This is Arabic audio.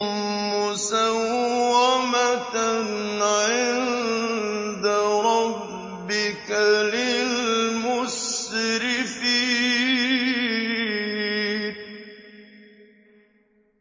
مُّسَوَّمَةً عِندَ رَبِّكَ لِلْمُسْرِفِينَ